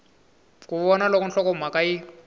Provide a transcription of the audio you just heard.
ku vona loko nhlokomhaka yi